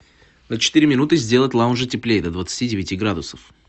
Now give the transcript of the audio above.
на четыре минуты сделать в лаунже теплее до двадцати девяти градусов